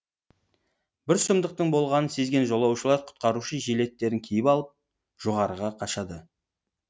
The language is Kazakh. бір сұмдықтың болғанын сезген жолаушылар құтқарушы жилеттерін киіп алып жоғарыға қашады